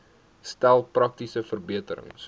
stel praktiese verbeterings